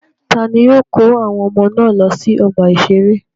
Ta ni yóò kó àwọn ọmọ náà lọ sí ọgbà-ìṣeré?